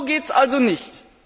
So geht es also nicht!